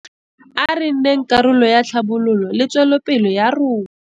A re nneng karolo ya tlhabololo le tswelopele ya rona.